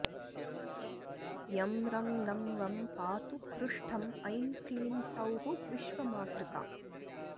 यं रं लं वं पातु पृष्ठं ऐं क्लीं सौः विश्वमातृका